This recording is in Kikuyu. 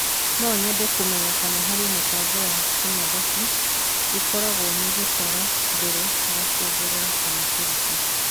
no nyende kũmenya kana harĩ mũbango wa kĩmathabũ ĩkoragwo nĩ gũtara mbere ya kũongerera kama kũruta